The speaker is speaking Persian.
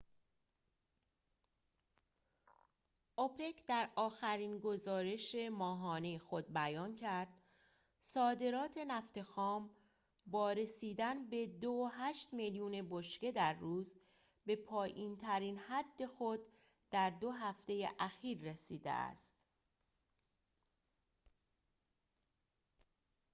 اوپک در آخرین گزارش ماهانه خود بیان کرد صادرات نفت خام با رسیدن به ۲.۸ میلیون بشکه در روز به پایین‌ترین حد خود در دو هفته اخیر رسیده است